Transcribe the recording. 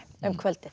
um kvöldið